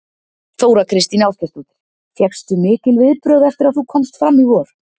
Þóra Kristín Ásgeirsdóttir: Fékkstu mikil viðbrögð eftir að þú komst fram í vor?